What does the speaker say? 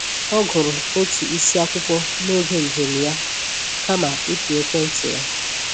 Ọ gụrụ otu isi akwụkwọ n’oge njem ya kama ịpị ekwentị ya